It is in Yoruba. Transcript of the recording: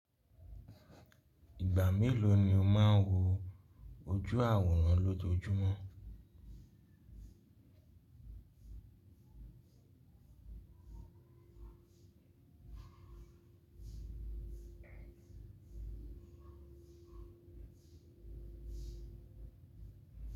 Ìgbà mélòó ni o máa ń wo ojú àwòrán lójoojúmọ́?